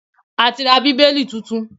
A ti ra Bíbélì tuntun